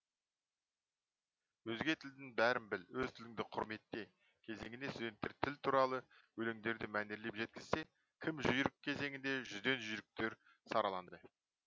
өзге тілдің бәрін біл өз тіліңді құрметте кезеңіне студенттер тіл туралы өлеңдерді мәнерліп жеткізсе кім жүйрік кезеңінде жүзден жүйріктер сараланды